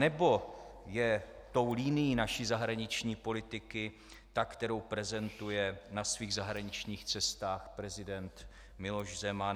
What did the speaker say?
Nebo je tou linií naší zahraniční politiky ta, kterou prezentuje na svých zahraničních cestách prezident Miloš Zeman?